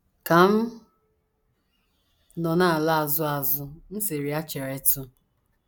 Ka m nọ na - ala azụ azụ, m sịrị ya: ‘ Cheretụ!